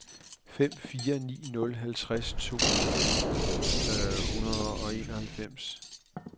fem fire ni nul halvtreds to hundrede og enoghalvfems